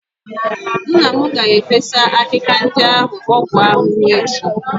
Nna m ga-efesa akịka ndị ahụ ọgwụ ahụhụ echi.